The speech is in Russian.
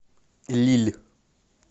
лилль